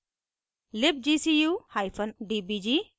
libgcudbg